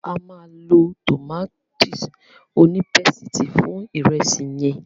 A máa lọ tòmátì onípésìtì fún ìrẹsì yẹn.